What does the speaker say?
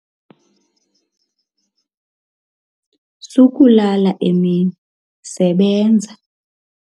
Sukulala emini, sebenza.